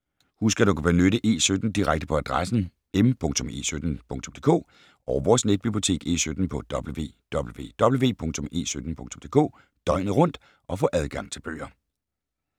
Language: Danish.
Husk at du kan benytte E17 Direkte på adressen m.e17.dk og vores netbibliotek E17 på www.e17.dk døgnet rundt og få adgang til bøger.